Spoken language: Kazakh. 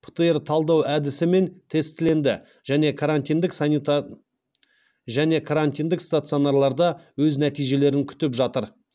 птр талдау әдісімен тестіленді және карантиндік стационарларда өз нәтижелерін күтіп жатыр